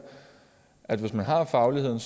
at hvis man har fagligheden